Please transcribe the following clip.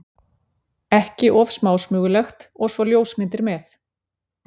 ekki of smásmugulegt- og svo ljósmyndir með.